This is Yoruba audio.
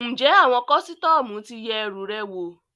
Ǹjẹ́ àwọn kọ́sítọ́mù ti yẹ ẹrù rẹ wò?